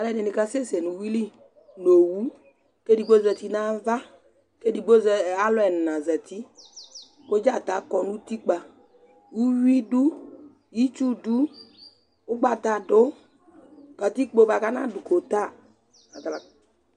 alu ɛdini ka sɛsɛ nu uwʋi li nu owu ku edigbo zati nu ava, ku edigbo, ɛ alu ɛna zati ku Dzata kɔ nu utikpa, uwʋi du, itsu du, ugbata du, katikpo bʋa ku ɔna du kota